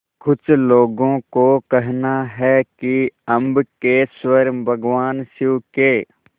कुछ लोगों को कहना है कि अम्बकेश्वर भगवान शिव के